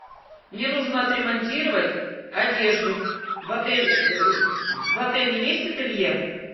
мне нужно отремонтировать одежду в отеле есть ателье